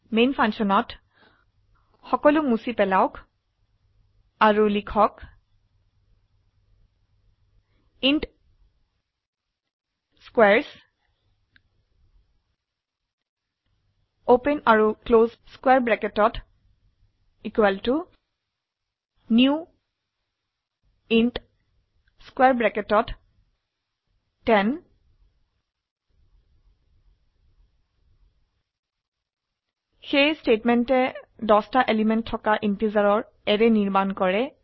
man ফাংশনত সকলো মুছে পেলাওক আৰু লিখুন ইণ্ট স্কোৱাৰেছ নিউ ইণ্ট 10 এই স্টেটমেন্টে 10টি এলিমেন্ট থকা ইন্টিজাৰৰ অ্যাৰে নিৰ্মাণ কৰে